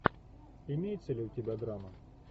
имеется ли у тебя драма